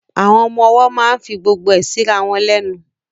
Àwọn ọmọ ọwọ́ máa ń fi gbogbo ẹ síra wọn lẹ́nu